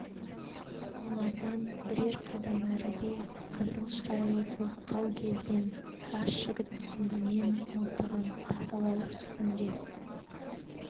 олардан бірер қадам әріде қызыл шырайлы толықтау келген жас жігіт сүмбімен мылтығын тазалау үстінде